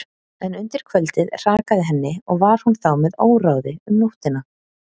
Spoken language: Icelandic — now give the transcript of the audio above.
En undir kvöldið hrakaði henni og var hún þá með óráði um nóttina.